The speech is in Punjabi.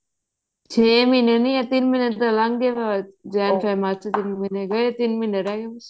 ਛੇ ਮਹੀਨੇ ਨਹੀਂ ਹੈ ਤਿੰਨ ਮਹੀਨੇ ਤਾਂ ਲੰਘ ਗਏ initialJANinitial initialFEBinitial march ਤਿੰਨ ਮਹੀਨੇ ਗਏ ਤਿੰਨ ਮਹੀਨੇ ਰਹਿ ਗਏ